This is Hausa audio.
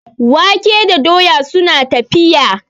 wake da doya suna tafiya